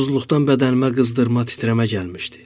Susuzluqdan bədənimə qızdırma titrəmə gəlmişdi.